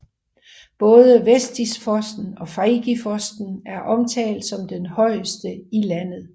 Både Vettisfossen og Feigefossen er omtalt som den højeste i landet